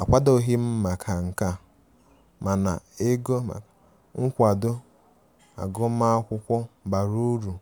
Akwadoghim maka nkea, mana ego nkwado agụma akwụkwo bara ụrụ